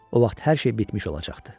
O vaxt hər şey bitmiş olacaqdı.